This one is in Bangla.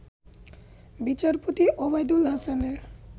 বিচারপতি ওবায়দুল হাসানের